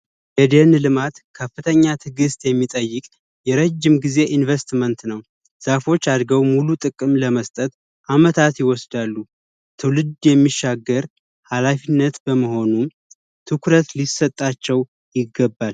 የደን ልማት ከፍተኛ ትግስት የሚጠይቅ የረጅም ጊዜ ኢንቨስትመንት ነው ዛፎች አድርገው ሙሉ ጥቅም ለመስጠት አመታት ይወስዳሉ ትውልድ የሚሻገር ሃላፊነት በመሆኑ ትኩረት ሊሰጣቸው ይገባል።